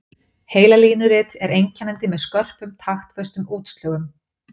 Heilalínurit er einkennandi með skörpum taktföstum útslögum.